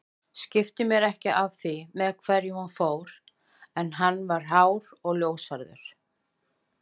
Skipti mér ekki af því með hverjum hún fór en hann var hár og ljóshærður